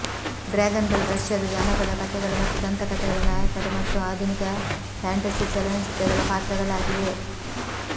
ಡ್ರ್ಯಾಗನ್ಗಳು ರಷ್ಯಾದ ಜಾನಪದ ಕಥೆಗಳು ಮತ್ತು ದಂತಕಥೆಗಳ ನಾಯಕರು ಮತ್ತು ಆಧುನಿಕ ಫ್ಯಾಂಟಸಿ ಚಲನಚಿತ್ರಗಳ ಪಾತ್ರಗಳಾಗಿವೆ